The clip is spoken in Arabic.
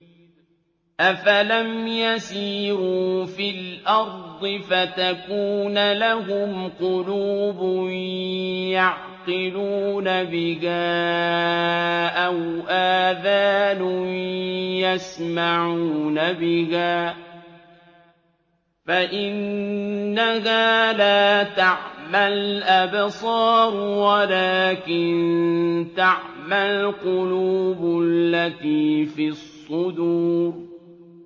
أَفَلَمْ يَسِيرُوا فِي الْأَرْضِ فَتَكُونَ لَهُمْ قُلُوبٌ يَعْقِلُونَ بِهَا أَوْ آذَانٌ يَسْمَعُونَ بِهَا ۖ فَإِنَّهَا لَا تَعْمَى الْأَبْصَارُ وَلَٰكِن تَعْمَى الْقُلُوبُ الَّتِي فِي الصُّدُورِ